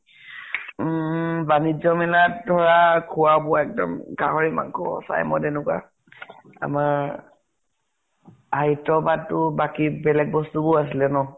উম বাণিজ্য় মেলাত ধৰা, খুৱা বোৱা একদম গাহৰি মাংস, চাই মদ সেনেকুৱা । আমাৰ সাহিত্য় সভাত তো বাকী বেলেগ বস্তু বোৰো আছিলে ন ?